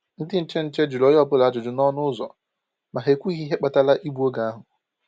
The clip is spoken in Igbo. Ndị nche nche jụrụ onye ọ́bụla ajụjụ n’ọnụ ụzọ, ma ha ekwughi ihe kpatara igbu oge ahụ.